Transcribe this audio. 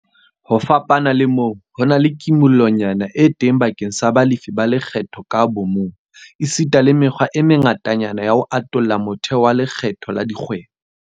Ho fapana le moo, ho na le kimollonyana e teng bakeng sa balefi ba lekgetho ka bomong, esita le mekgwa e mengatanyana ya ho atolla motheo wa lekgetho la dikgwebo.